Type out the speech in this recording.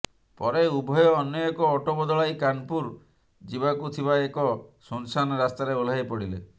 ପରେ ଉଭୟ ଅନ୍ୟ ଏକ ଅଟୋ ବଦଳାଇ କାନପୁର ଯିବାକୁ ଥିବା ଏକ ଶୂନଶାନ ରାସ୍ତାରେ ଓହ୍ଲାଇ ପଡ଼ିଲେ